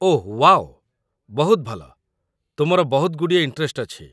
ଓଃ wow, ବହୁତ ଭଲ, ତୁମର ବହୁତଗୁଡ଼ିଏ ଇଣ୍ଟରେଷ୍ଟ ଅଛି ।